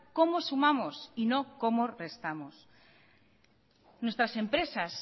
cómo sumamos y no cómo restamos nuestras empresas